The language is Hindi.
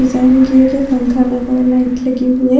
डिजाइन किए गए पंखा लगा हुआ लाइट लगी हुई है।